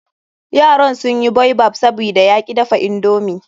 Yaran sun yi baobab, sabida ya ki dafa indomi.